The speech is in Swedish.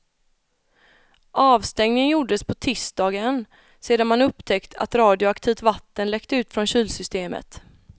Avstängningen gjordes på tisdagen sedan man upptäckt att radioaktivt vatten läckte från kylsystemet.